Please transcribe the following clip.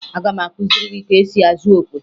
Aga m akụziri gị ka esi azụ okwe